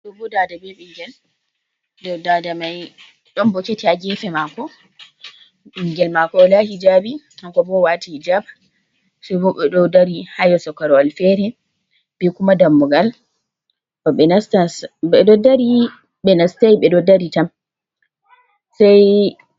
Ɗo bo daada be bingel dada mai don boketi ha gefe mako, ɓingel mako wala hijabi hanko bo owati hijab sai bo ɓe ɗo dari ha yeeso korowal feere be kuma dammugal, ɓe ɗo dari ɓe nastai ɓe ɗo dari tam sai.